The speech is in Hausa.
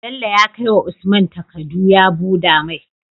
Bello ya kai wa usman takadu ya buda mai